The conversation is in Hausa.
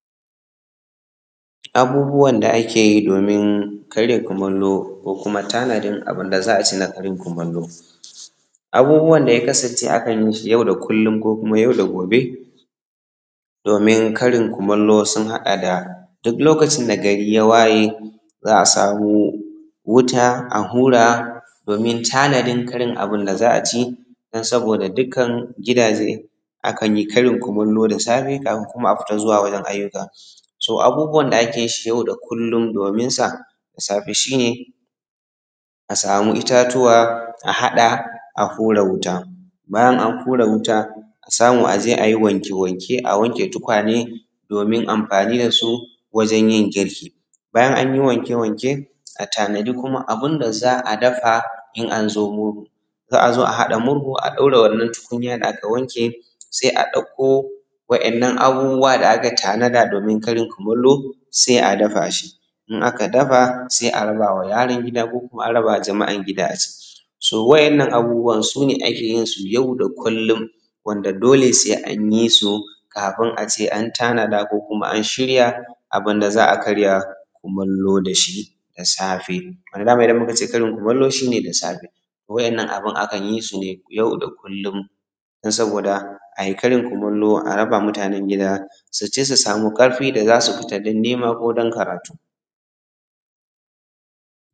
Abubuwan da ake yi domin karya kumallo ko kuma tanadin abinda za a ci na karin kumallo. Abubuwan da ya kasance akan yi shi na yau da kullum ko kuma yau da gobe domin karin kumallo sun haɗa da, duk lokacin da gari ya waye za a samu wuta a hura domin tanadin karin abin da za a ci dun saboda dukkan gidaje akan yi karin kumallo da safe kafin kuma a fita zuwa wajen ayyuka. Abubuwan da ake yi yau da kullum dominsa da safe shi ne a samu itatuwa a haɗa a hura wutan. Bayan an hura wuta a samu a je a yi wanke-wanke a wanke tukwane domin anfani da su wajen yin girki. Bayan an yi wanke-wanke a tanadi kuma abin da za a daafa in an zo murhu. Za a zo a haɗa murhun a ɗaura wannan tukunya da aka wanke sai a ɗakko waɗannan abubuwa da aka tanada domin karin kumallo sai a dafa shi, in aka dafa, sai a rabawa yaran gida ko jama’an gida. So waɗannan abubuwan su ne ake yin su yau da kullum wanda dole sai an yi su kafin a ce an tanada ko an shirya abinda za a karya kumallo da shi da safe wanda dama shi ne wanda muka ce karin kumallo shi ne da safe. Waɗannan abin akan yi su ne yau da kullum don saboda ai karin kumallo a rabama mutanin gida su ci su samu ƙarfi ta yadda zaa su fita don nima ko don karatu.